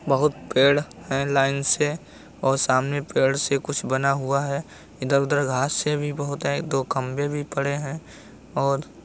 बहुत पेड़ है लाइन से और सामने पेड़ से कुछ बना हुआ है । इधर उधर घास भी बहुत है दो खंबे भी पड़े हैं और --